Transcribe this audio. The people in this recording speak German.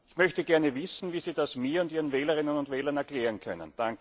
Ich möchte gerne wissen, wie Sie das mir und Ihren Wählerinnen und Wählern erklären können.